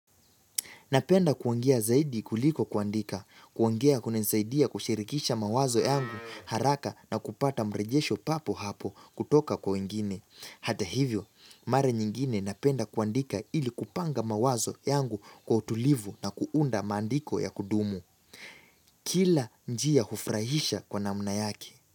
Napenda kuongea zaidi kuliko kuandika, kuongea hunisaidia kushirikisha mawazo yangu haraka na kupata mrejesho papo hapo kutoka kwa wengine. Hata hivyo, mara nyingine napenda kuandika ili kupanga mawazo yangu kwa utulivu na kuunda maandiko ya kudumu. Kila njia hufrahisha kwa namna yake.